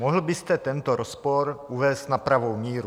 Mohl byste tento rozpor uvést na pravou míru?